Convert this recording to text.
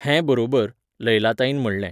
हें बरोबर, लैलाताईन म्हणलें.